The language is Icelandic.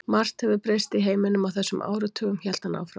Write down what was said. Margt hefur breyst í heiminum á þessum áratugum hélt hann áfram.